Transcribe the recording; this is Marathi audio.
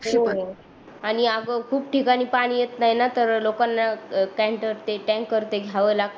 हो आणि आग खूप ठिकाणी पाणी येत नाही न तर लोकांना ते टँकर ते टँकर ते घ्याव लागते विकत